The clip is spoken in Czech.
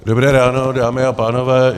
Dobré ráno, dámy a pánové.